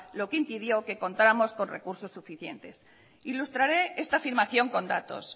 lo que impidió que contáramos con recursos suficientes ilustraré esta afirmación con datos